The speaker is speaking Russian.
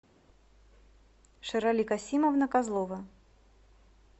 шерали касимовна козлова